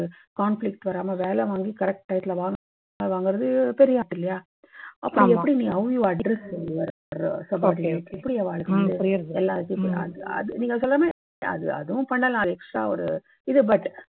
conflict வராம வேலை வாங்கி correct time ல வாங்கறது பெரிய art இல்லயா? அப்போ எப்படி நீ how you address subordinates இப்படி அவா எல்லாத்தையு அஅ நீங்க சொல்ற மாதிரி அதுவும் பண்ணலாம் extra ஒரு